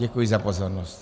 Děkuji za pozornost.